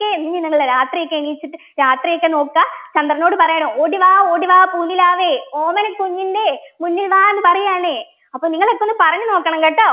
ക്കെ ഇങ്ങനെയുള്ള രാത്രിയൊക്കെ എണീച്ചിട്ട് രാത്രി ഒക്കെ നോക്ക ചന്ദ്രനോട് പറയണം ഓടി വാ ഓടി വാ പൂനിലാവേ ഓമന കുഞ്ഞിൻ്റെ മുന്നിൽ വാ എന്ന് പറയാണ് അപ്പൊ നിങ്ങളൊക്കെയൊന്ന് പറഞ്ഞു നോക്കണം കേട്ടോ